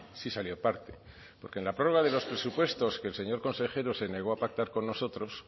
sí salió parte porque en la prórroga de los presupuestos que el señor consejero se negó a pactar con nosotros